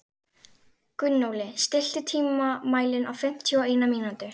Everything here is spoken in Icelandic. Gunnóli, stilltu tímamælinn á fimmtíu og eina mínútur.